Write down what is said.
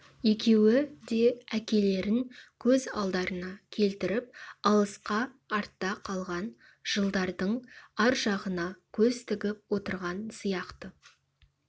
екеуі де әкелерін көз алдарына келтіріп алысқа артта қалған жылдардың ар жағына көз тігіп отырған сияқты